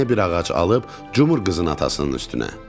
Əlinə bir ağac alıb, cumur qızın atasının üstünə.